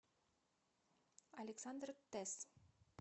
александр тесс